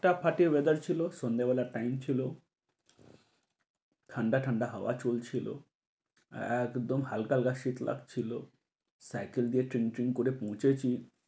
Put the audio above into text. তা ফাটিয়ে weather ছিল সন্ধ্যে বেলার টাইম ছিল ঠান্ডা ঠান্ডা হাওয়া চলছিল। একদম হালকা হালকা শীত লাগছিল সাইকেল দিয়ে টিম টিম করে পৌঁছেছি।